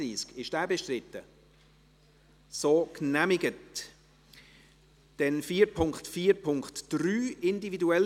Sie haben den Eventualantrag abgelehnt, mit 98 Nein- zu 52 Ja-Stimmen bei 1 Enthaltung.